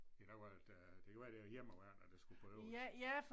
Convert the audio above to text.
Det kan være at øh det kan være det er hjemmeværnet der skulle på øvelse